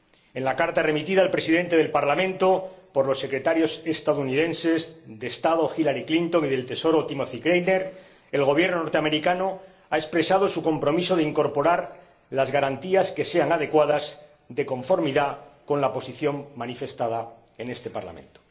En la carta remitida al Presidente del Parlamento por los Secretarios estadounidenses de Estado, Hillary Clinton, y del Tesoro, Timothy Geithner, el Gobierno estadounidense ha expresado su compromiso de incorporar las garantías que sean adecuadas de conformidad con la posición manifestada en este Parlamento.